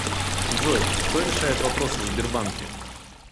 джой кто решает вопросы в сбербанке